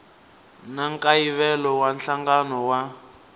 na nkayivelo wa nhlangano wa